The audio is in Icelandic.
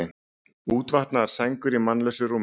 Útvaðnar sængur í mannlausu rúmi.